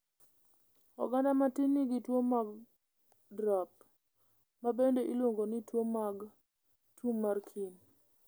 Oganda matin nigi tuwo mag drop, ma bende iluongo ni tuo mag Tumarkin.